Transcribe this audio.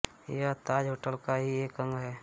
यह ताज होटल का ही एक अंग है